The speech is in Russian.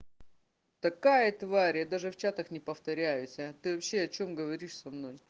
такая тварь я даже в чатах не повторюсь аа ты вообще о чем говоришь со мной